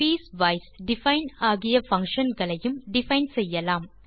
piecewise define ஆகிய function களையும் define செய்யலாம்